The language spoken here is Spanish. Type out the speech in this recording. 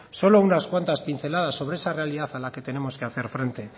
solo algunas cuantas pinceladas sobre esa realidad a la que tenemos que hacer frente